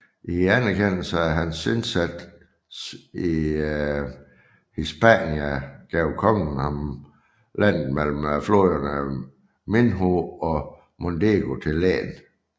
I anerkendelse af hans indsat i Hispania gav kongen ham landet mellem floderne Minho og Mondego til len